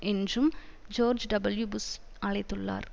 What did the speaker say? என்றும் George W Bush அழைத்துள்ளார்